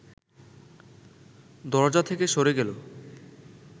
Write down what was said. দরজা থেকে সরে গেল